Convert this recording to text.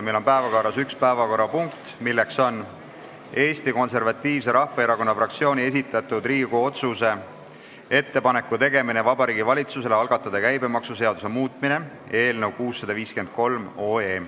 Meil on päevakorras üks punkt, milleks on Eesti Konservatiivse Rahvaerakonna fraktsiooni esitatud Riigikogu otsuse "Ettepaneku tegemine Vabariigi Valitsusele algatada käibemaksuseaduse muutmine" eelnõu .